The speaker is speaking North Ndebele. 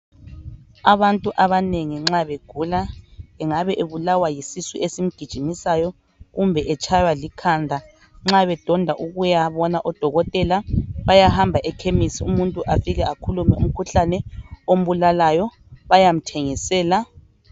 Abantu abanengi nxa begula engabe ebulawa yisisu esimgijimisayo kumbe etshaywa likhanda nxa bedonda ukuyabona odokotela bayahamba ekhemisi umuntu afike akhulume umkhuhlane ombulalayo bayamthengisela.